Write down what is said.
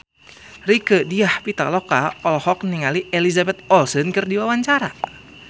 Rieke Diah Pitaloka olohok ningali Elizabeth Olsen keur diwawancara